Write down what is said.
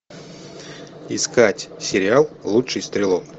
искать сериал лучший стрелок